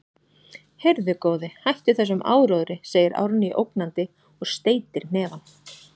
Heyrðu, góði, hættu þessum áróðri, segir Árný ógnandi og steytir hnefann.